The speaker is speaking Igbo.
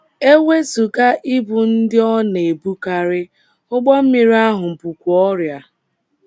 E wezụga ibu ndị ọ na - ebukarị, ụgbọ mmiri ahụ bukwa ọrịa.